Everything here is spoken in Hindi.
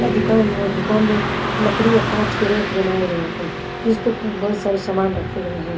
दुकान में दुकान में लकड़ी और कांच के रैक बनाए गए हैं जिसपे बहुत सारे सामान रखे गए है।